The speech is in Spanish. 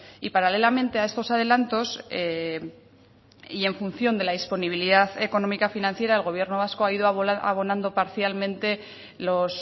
y paralelamente a estos adelantos y en función de la disponibilidad económica financiera el gobierno vasco ha ido abonando parcialmente los